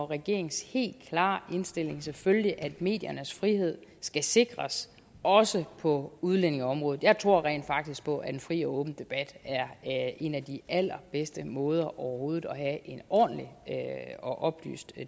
regeringens helt klare indstilling selvfølgelig at mediernes frihed skal sikres også på udlændingeområdet jeg tror rent faktisk på at en fri og åben debat er en af de allerbedste måder overhovedet at en ordentlig og oplyst